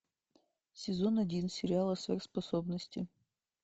сезон один сериала сверхспособности